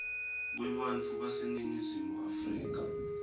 kwebantfu baseningizimu afrika